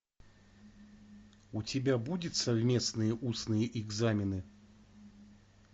у тебя будет совместные устные экзамены